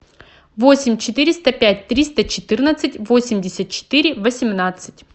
восемь четыреста пять триста четырнадцать восемьдесят четыре восемнадцать